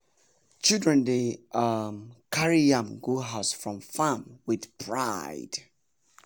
children dey um carry yam go house from farm with pride.